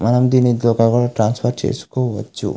మనం దీనితో ఇక్కడ కూడా ట్రాన్స్ఫర్ చేసుకోవచ్చు.